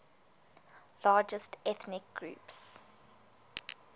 largest ethnic groups